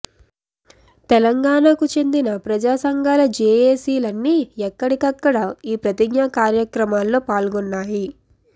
తెలంగాణకు చెందిన ప్రజా సంఘాల జెఎసిలన్నీ ఎక్కడికక్కడ ఈ ప్రతిజ్ఞా కార్యక్రమాల్లో పాల్గొన్నాయి